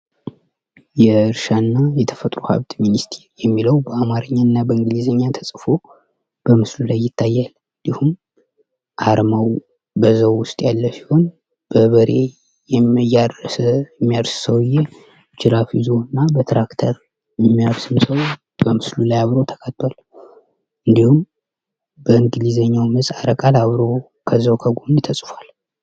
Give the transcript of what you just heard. የእርሻ እና የተፈጥሮ ሀብት ሚኒስትር የሚለው በአማርኛ እና በእንግሊዘኛ ተጽፎ በምስሉ ላይ ይታያል እንዲሁም አርማው በዛው ውስጥ ያለ ሲሆን የሚያርስ ሰው ጅራፍ ይዞ እና በትራክተር የሚያርስ ሰው በምስሉ ላይ አብሮ ተካቷል። እንዲሁም በእንግሊዝኛ ምህጻረ ቃል አብሮ ከዛው ከጎን ተጽፏል።